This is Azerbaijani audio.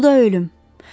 Bu da ölüm.